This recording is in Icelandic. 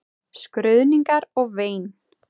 Skruðningar og vein.